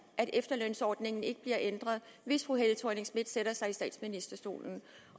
at efterlønsordningen ikke bliver ændret hvis fru helle thorning schmidt sætter sig i statsministerstolen